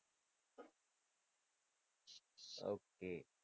okay